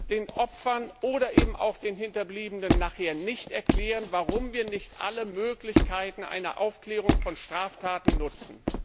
Ich möchte den Opfern oder eben auch den Hinterbliebenen nachher nicht erklären, warum wir nicht alle Möglichkeiten einer Aufklärung von Straftaten nutzen.